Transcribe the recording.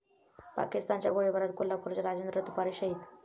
पाकिस्तानच्या गोळीबारात कोल्हापूरचे राजेंद्र तुपारे शहीद